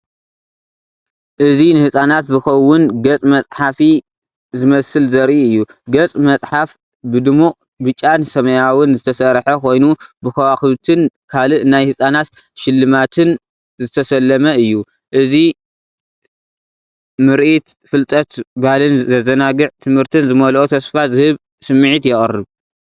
እዚ ንህጻናት ዝኸውን ገጽ መጽሓፊ ዝመስል ዘርኢ እዩ። ገጽ መጽሓፍ ብድሙቕ ብጫን ሰማያውን ዝተሰርሐ ኮይኑ ብከዋኽብትን ካልእ ናይ ህጻናት ስልማትን ዝተሰለመ እዩ። እዚ ምርኢት ፍልጠት ባህልን ዘዘናግዕ ትምህርትን ዝመልኦ ተስፋ ዝህብ ስምዒት የቕርብ።